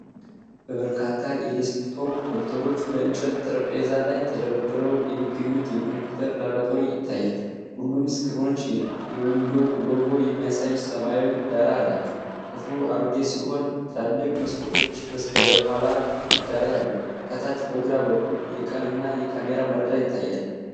በርካታ የዴስክቶፕ ኮምፒውተሮች በእንጨት ጠረጴዛዎች ላይ ተደርድረው የሚገኙበት የኮምፒውተር ላብራቶሪ ይታያል። ሁሉም ስክሪኖች የዊንዶውስ ሎጎ የሚያሳይ ሰማያዊ ዳራ አላቸው። ክፍሉ አሮጌ ሲሆን ትላልቅ መስኮቶች በስተኋላው ግድግዳ ላይ አሉ። ከታች በግራ በኩል የቀን እና የካሜራ መረጃ ይታያል።